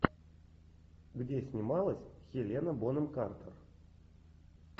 где снималась хелена бонем картер